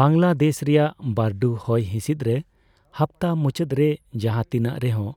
ᱵᱟᱝᱞᱟᱫᱮᱥ ᱨᱮᱭᱟᱜ ᱵᱟᱹᱨᱰᱩ ᱦᱚᱭ ᱦᱤᱸᱥᱤᱫᱨᱮ ᱦᱟᱯᱛᱟ ᱢᱩᱪᱟᱹᱫᱨᱮ ᱡᱟᱦᱟᱸ ᱛᱤᱱᱟᱜ ᱨᱮᱦᱚᱸ